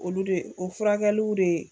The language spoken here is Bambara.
Olu de, o furakɛliw de ye